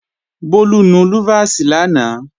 Bólú nu lúfàsì lánàá